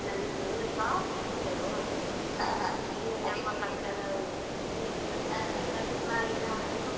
ಇಲ್ಲೇ ನಮ್ಮ ಪಕ್ಕದ ಊರಿನಲ್ಲಿ ಅದು ಮತ್ತೆ ಬಂದ್ ಮಾಡಿ ನಾನು ಮನೆಯಲ್ಲಿ ಈಗಾ ಹೊಲಿತಾ ಇದ್ದೀನಿ.